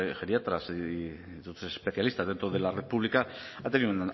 geriatras y especialistas dentro de la red pública ha tenido